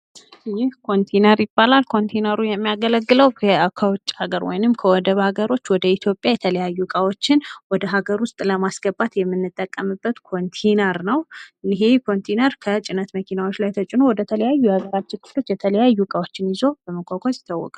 ይህ ኮንቲነር ይባላል። ኮንቲነሩ የሚያገለግለው ከውጭ ሃገር ወይም ከወደብ ሃገሮች ወደ ኢትዮጵያ የተለያዩ እቃዎችን ለማስገባት የምንጠቀምበት ኮንቲነር ነው ። ይህ ኮንቲነር በጭነት መኪናዎች ላይ ተጭኖ ወደ ተለያዩ የሃገራችን ክፍሎች የተለያዩ እቃዎችን ይዞ በመዘዋወር ይታወቃል ።